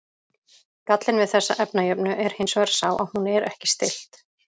Gallinn við þessa efnajöfnu er hins vegar sá að hún er ekki stillt.